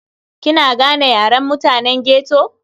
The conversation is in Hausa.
Kina gane Yaren mutane ghetto?